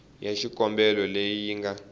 ya xikombelo leyi yi nga